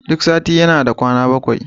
Duk sati yana da kwana bakwai